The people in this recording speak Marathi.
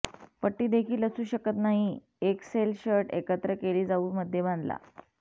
पट्टी देखील असू शकत नाही एक सेल शर्ट एकत्र केली जाऊ मध्ये बांधला